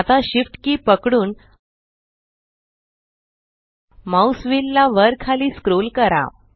आता SHIFT key पकडून mouse wheel ला वर खाली स्क्रोल करा